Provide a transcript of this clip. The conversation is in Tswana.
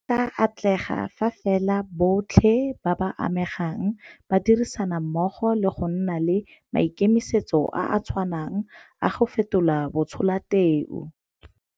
E tla atlega fa fela botlhe ba ba amegang ba dirisana mmogo le go nna le maikemisetso a a tshwanang a go fetola batsholateu.